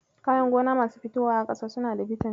Kayan gona masu fitowa a ƙasa suna da bitamin.